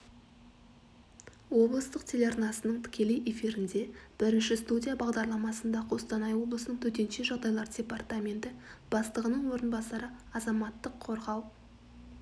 облыстық телеарнасының тікелей эфирінде бірінші студия бағдарламасында қостанай облысының төтенше жағдайлар департаменті бастығының орынбасары азаматтық қорғау